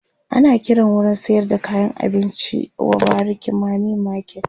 ana Kiran wurin sayar da kayan abinci w bariki mami market